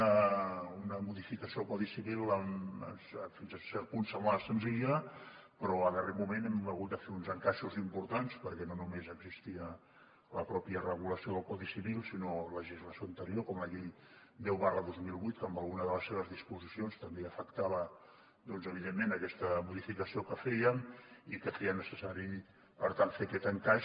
una modificació del codi civil que fins a cert punt semblava senzilla però al darrer moment hem hagut de fer uns encaixos importants perquè no només existia la pròpia regulació del codi civil sinó legislació anterior com la llei deu dos mil vuit que en alguna de les seves disposicions també afectava evidentment aquest modificació que fèiem i que feia necessari per tant fer aquest encaix